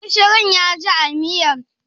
Gishirin ya ji a miyar?